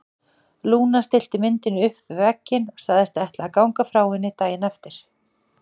Lúna stillti myndinni upp við vegginn og sagðist ætla að ganga frá henni daginn eftir.